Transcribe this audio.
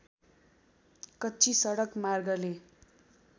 कच्ची सडक मार्गले